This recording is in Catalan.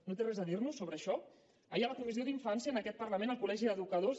no té res a dir nos sobre això ahir a la comissió d’infància en aquest parlament el col·legi d’educadors